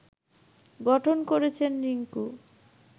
গঠন করেছেন রিংকু